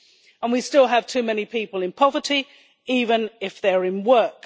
And we still have too many people in poverty even if they are in work.